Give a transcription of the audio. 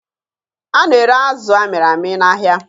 A na-ere azụ amịrị amị n'ahịa